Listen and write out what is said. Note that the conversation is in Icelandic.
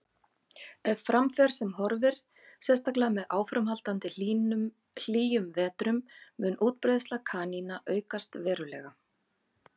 Ef fram fer sem horfir, sérstaklega með áframhaldandi hlýjum vetrum, mun útbreiðsla kanína aukast verulega.